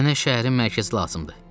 Mənə şəhərin mərkəzi lazımdır.